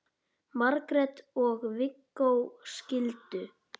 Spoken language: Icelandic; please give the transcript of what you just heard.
Margrét og Viggó skildu.